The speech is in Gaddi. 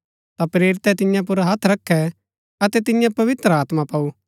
ता प्रेरितै तियां पुर हत्थ रखै अतै तिन्ये पवित्र आत्मा पाऊ